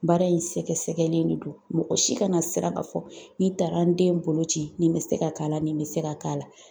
Baara in sɛgɛsɛgɛlen de don. Mɔgɔ si kana sira ka fɔ n'i taara n den bolo ci nin be se ka k'a la nin be se ka k'a la.